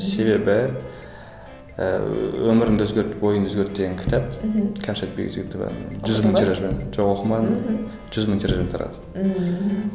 себебі ііі өміріңді өзгерт ойыңды өзгерт деген кітап мхм кәмшат бекжігітованың жүз мың тиражбен жоқ оқымадым жүз мың тиражбен тарады мхм